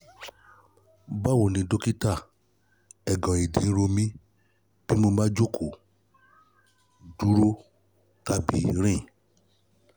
báwo ni dọ́kítà eegan ìdí ń ro mí bí mo bá jókòó dúró tàbí rìn